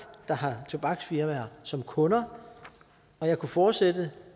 der har tobaksfirmaer som kunder og jeg kunne fortsætte